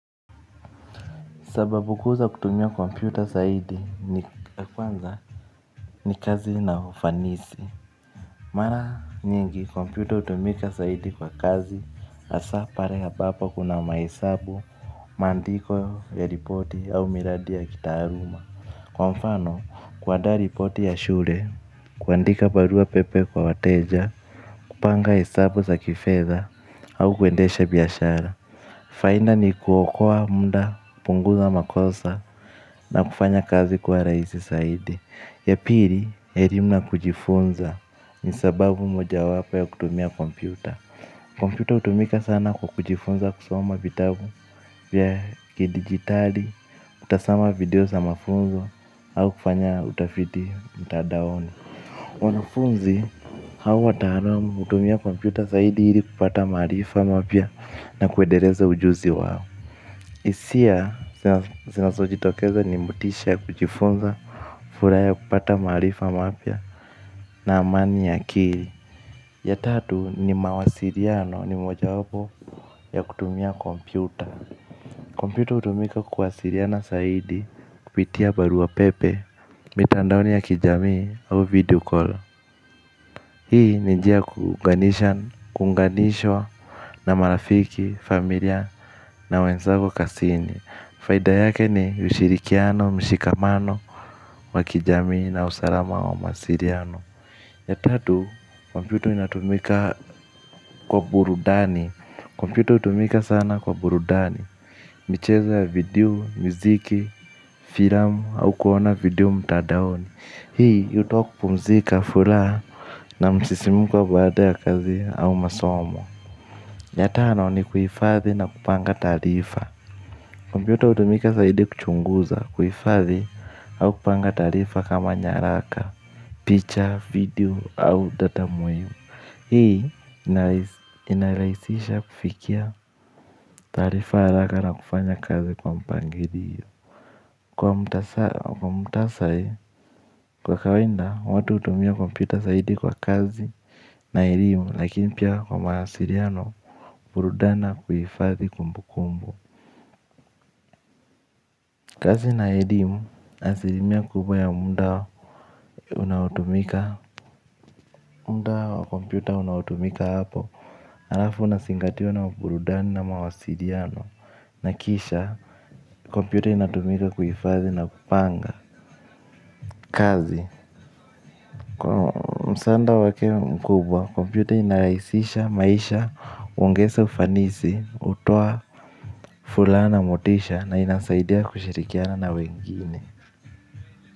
Sababu kuu za kutumia kompyuta saidi ni kwanza ni kazi na ufanisi. Mara nyingi kompyuta hutumika saidi kwa kazi, hasa pare ambapo kuna mahesabu, maandiko ya ripoti au miradi ya kitaaruma. Kwa mfano, kuadaa ripoti ya shure, kuandika barua pepe kwa wateja, kupanga hesabu za kifedha au kwendesha biashara. Fainda ni kuokoa mnda, punguza makosa na kufanya kazi kuwa rahisi saidi. Yapiri, herimu na kujifunza ni sababu moja wapa ya kutumia kompyuta. Kompyuta hutumika sana kwa kujifunza kusoma vitabu via ki digitali, kutasama video sa mafunzo au kufanya utafiti mtadaoni wanafunzi, hau wataaramu hutumia kompyuta zaidi ili kupata maarifa mapya na kuedereza ujuzi wao hisia zinazo jitokeza ni mutisha ya kujifunza. Fulaha ya kupata mahalifa mapia na amani ya akiri. Ya tatu ni mawasiriano ni moja wapo ya kutumia kompyuta. Kompyuta hutumika kuwasiriana saidi kupitia barua pepe. Mitandaoni ya kijamii au videocall. Hii ni njia ya kuunganishwa na marafiki familia na wenzago kasini. Faida yake ni ushirikiano, mshikamano, wakijami na usalama wa masiriano. Ya tatu, kompyuto inatumika kwa burudani. Kompyuta hutumika sana kwa burudani. Michezo video, mziki, filamu au kuona video mtadaoni. Hii hutoka kupumzika fulaha na msisimuko baada ya kazi au masomo. Ya tano ni kuifathi na kupanga taarifa kompyuta hutumika zaidi kuchunguza, kuhifadhi au kupanga taarifa kama nyaraka, picha video au data muhimu hii inarahisisha kufikia taarifa haraka na kufanya kazi kwa mpangilio. Kwa mtasari kwa kawainda watu hutumia kompyuta zaidi kwa kazi na elimu lakini pia kwa mawasiriano burudani na kuhifathi kumbu kumbu. Kazi na elimu asilimia kubwa ya munda unaotumika. Munda wakompyuta unaotumika hapo. Harafu unasingatiwa na mburudani na mawasiriano na kisha kompyuta inatumika kuhifadhi na kupanga kazi, kwa msaanda wake mkubwa, kompyuta inarahisisha maisha, huongeza ufanisi, hutoa fulana motisha na inasaidia kushirikiana na wengine.